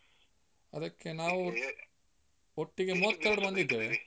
ಅದಕ್ಕೆ ನಾವು ಒಟ್ಟಿಗೆ ಮೂವತ್ತೆರಡು ಮಂದಿ ಇದ್ದೇವೆ.